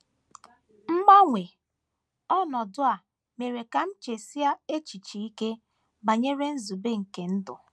Mgbanwe ọnọdụ a mere ka m chesie echiche ike banyere nzube nke ndụ.